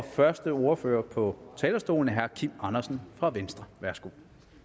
første ordfører på talerstolen er herre kim andersen fra venstre værsgo